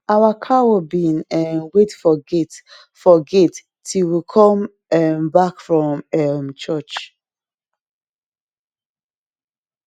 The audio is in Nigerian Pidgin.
our cow bin um wait for gate for gate till we come um back from um church